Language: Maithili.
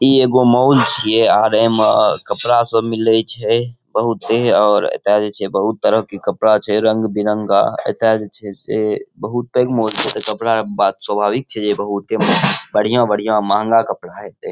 ई एगो मॉल छिये आर एमें कपड़ा सब मिलै छिए। बहुते और एता जे छे बहुत तरह के कपडा छे रंग बिरंगा। एता जे छे से बहुते मॉल से के कपड़ा बात स्वाभाविक छे बढियां-बढियां महँगा कपड़ा हैते।